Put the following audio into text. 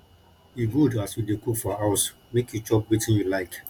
e good as you dey cook for house make you chop wetin you like